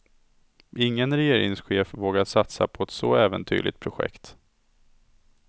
Ingen regeringschef vågar satsa på ett så äventyrligt projekt.